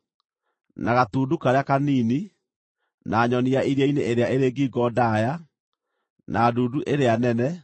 na gatundu karĩa kanini, na nyoni ya iria-inĩ ĩrĩa ĩrĩ ngingo ndaaya, na ndundu ĩrĩa nene,